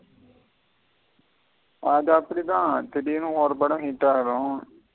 அது அப்டித திடிருன்னு ஒரு படம் hit ஆகிரும்.